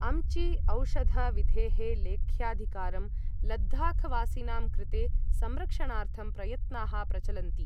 अम्ची औषध विधेः लेख्याधिकारं लद्दाखवासिनां कृते संरक्षणार्थं प्रयत्नाः प्रचलन्ति।